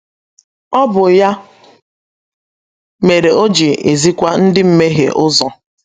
Ọ bụ ya mere o ji ezikwa ndi mmehe ụzọ